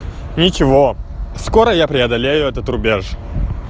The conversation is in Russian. ничего скоро я преодолею этот рубеж